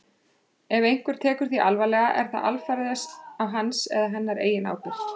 Ef einhver tekur því alvarlega er það alfarið á hans eða hennar eigin ábyrgð.